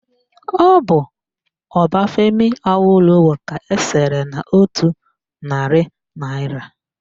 Ọ bụ Obafemi Awolowo ka esere n'otu narị naịra